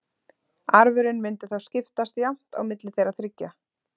Arfurinn mundi þá skiptast jafnt á milli þeirra þriggja.